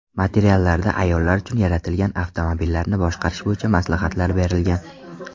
Materiallarda ayollar uchun yaratilgan avtomobillarni boshqarish bo‘yicha maslahatlar berilgan.